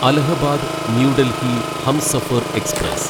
Allahabad New Delhi Humsafar express